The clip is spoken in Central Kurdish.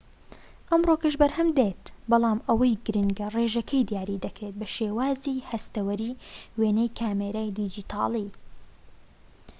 ئەمڕۆکەش بەرهەمدێت بەڵام ئەوەی گرنگە ڕێژەکەی دیاری دەکرێت بە شێوازی هەستەوەری وێنەی کامێرەی دیجیتاڵی